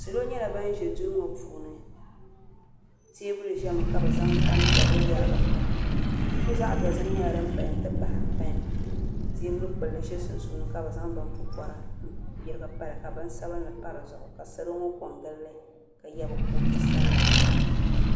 salo nyɛla bana ʒe duu ŋɔ puuni teebuli ʒiɛmi ka bɛ zaŋ tam' piɛlli yarigi pa buku zaɣ' dozim nyɛla din paya nti pahi pɛn teebul' kpul' bila za sunsuuni ka bɛ zaŋ bin' pupɔra n-yirigi pa li ka bin' sabinli pa di zuɣu ka salo ŋɔ ko n-gili li ka ye bɛ kootu sabila